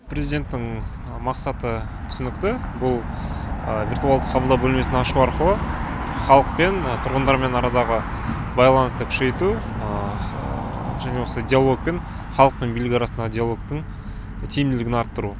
президенттің мақсаты түсінікті бұл виртуалды қабылдау бөлмесін ашу арқылы халықпен тұрғындармен арадағы байланысты күшейту және осы диалогпен халық пен билік арасындағы диалогтың тиімділігін арттыру